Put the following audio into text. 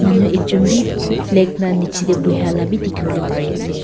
manu ekjun b flag la nichey de buhia la b dikhi bole pare ase.